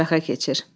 mətbəxə keçir.